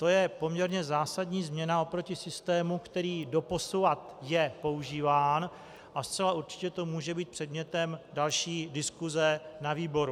To je poměrně zásadní změna oproti systému, který doposavad je používán, a zcela určitě to může být předmětem další diskuse na výboru.